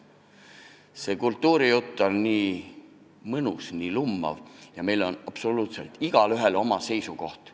" See kultuurijutt on nii mõnus, nii lummav ja meil on absoluutselt igaühel oma seisukoht.